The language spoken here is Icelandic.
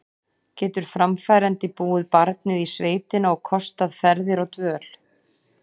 Getur framfærandi búið barnið í sveitina og kostað ferðir og dvöl?